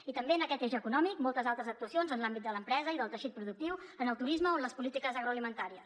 i també en aquest eix econòmic moltes altres actuacions en l’àmbit de l’empresa i del teixit productiu en el turisme o en les polítiques agroalimentàries